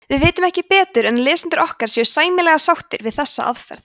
við vitum ekki betur en að lesendur okkar séu sæmilega sáttir við þessa aðferð